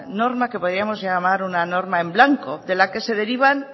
norma que podíamos llamar una norma en blanco de la que se derivan